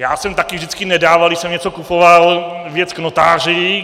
Já jsem také vždycky nedával, když jsem něco kupoval, věc k notáři.